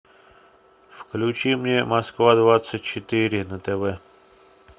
включи мне москва двадцать четыре на тв